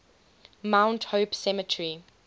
mount hope cemetery